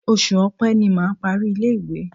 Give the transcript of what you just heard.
Oṣù Ọ̀pe ni mà á parí ilé-ìwé.